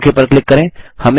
okay पर click करें